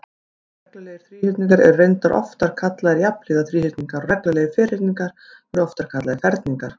Reglulegir þríhyrningar eru reyndar oftar kallaðir jafnhliða þríhyrningar og reglulegir ferhyrningar eru oftar kallaðir ferningar.